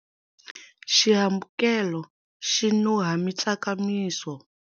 Xihambukelo xi nuha mitsakamiso.